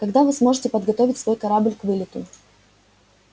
когда вы сможете подготовить свой корабль к вылету